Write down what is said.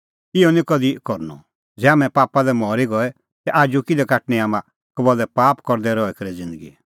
इहअ निं कधि करनअ ज़ै हाम्हैं पापा लै मरी गऐ ता आजू किल्है काटणी हाम्हां कबल्लै पाप करदै रही करै ज़िन्दगी